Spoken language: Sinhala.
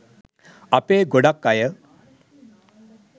අපේ ගොඩක් අය